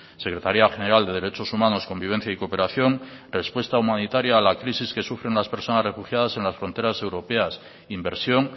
secretaría general de derechos humanos convivencia y cooperación respuesta humanitaria a la crisis que sufren las personas refugiadas en las fronteras europeas inversión